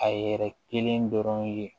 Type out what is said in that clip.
A yɛrɛ kelen dɔrɔn ye